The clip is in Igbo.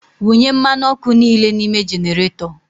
Wunye mmanụ ọkụ niile n'ime generator!